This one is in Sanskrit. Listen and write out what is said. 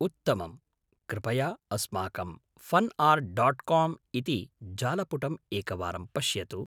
उत्तमम्! कृपया अस्माकं फन् आर्ट् डाट् काम् इति जालपुटम् एकवारं पश्यतु।